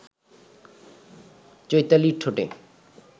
চৈতালির ঠোঁটে